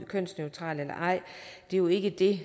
kønsneutral er jo ikke det